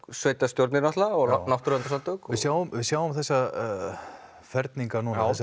sveitastjórnir náttúrulega og náttúruverndarsamtök við sjáum við sjáum þessa ferninga